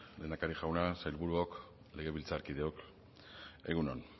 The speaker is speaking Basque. lehendakari jauna sailburuok legebiltzarkideok egun on